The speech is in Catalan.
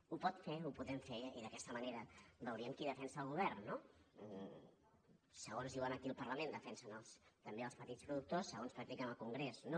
ho pot fer ho podem fer i d’aquesta manera veuríem qui defensa el govern no segons diuen aquí al parlament defensen també els petits productors segons practiquen al congrés no